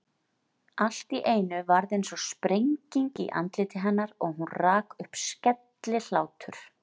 Allt í einu varð einsog sprenging í andliti hennar og hún rak upp skellihlátur.